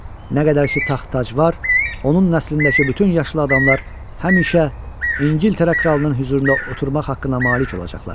Nə qədər ki taxtac var, onun nəslindəki bütün yaşlı adamlar həmişə İngiltərə kralının hüzurunda oturmaq haqqına malik olacaqlar.